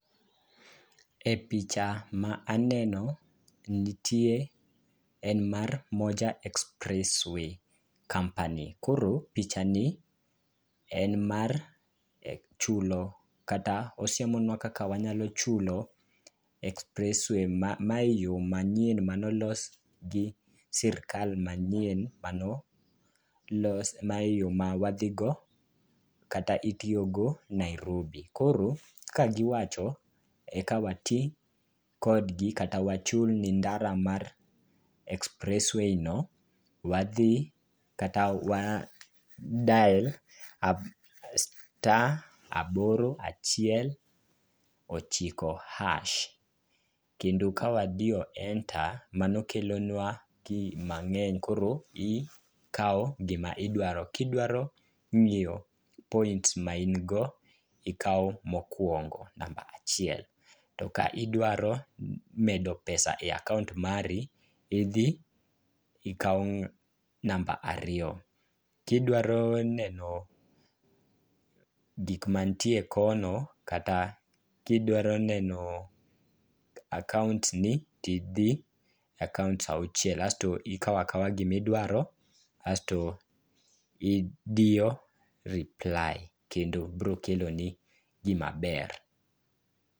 E picha ma aneno en mar Moja Express Way Company. Koro picha ni en mar chulo kata osiemonwa kaka wanyalo chulo express way. Mae yo manyien mane olos gi sirikal manyien mano los ,mae yo ma wadhigo kata itiyogo Nairobi. Koro kagiwacho,e ka wati kodgi kaka wachul ndara mar express wayno, wadhi kata wa dial star aboro achiel ochiko hash. Kendo ka wadiyo enter, mano kelonwa key mang'eny koro ikawo gima idwaro, Kidwaro ng'iyo points ma in go, ikawo mokwongo, namba achiel. To ka idwaro medo pesa[c] e akaont mari, idhi ikawo namba ariyo. Kidwaro neno gik mantie kono kata kidwaro neno akaontni, tidhi akaont auchiel kasto ikawo akawa gimidwaro, asto idiyo reply, kendo bro keloni gimaber.